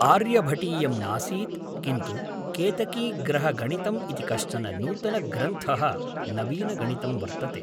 आर्यभटीयं नासीत् किन्तु केतकीग्रहगणितम् इति कश्चन नूतनग्रन्थः नवीनगणितं वर्तते